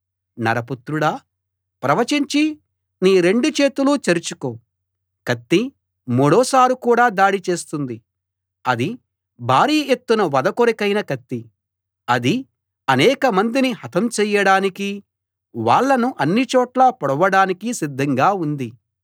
నరపుత్రుడా ప్రవచించి నీ రెండు చేతులు చరుచుకో కత్తి మూడోసారి కూడా దాడి చేస్తుంది అది భారీ ఎత్తున వధ కొరకైన కత్తి అది అనేకమందిని హతం చెయ్యడానికీ వాళ్ళను అన్నిచోట్లా పొడవడానికీ సిద్ధంగా ఉంది